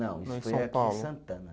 Não, isso foi aqui em Santana.